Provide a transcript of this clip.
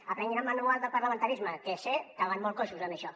aprenguin el manual del parlamentarisme que sé que van molt coixos en això